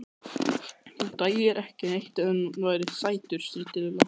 Þú dæir ekki neitt ef hann væri sætur. stríddi Lilla.